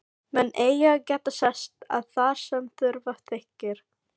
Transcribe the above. Menn eiga að geta sest að þar sem þurfa þykir.